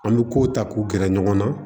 An bɛ kow ta k'u gɛrɛ ɲɔgɔn na